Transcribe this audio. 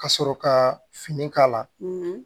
Ka sɔrɔ ka fini k'a la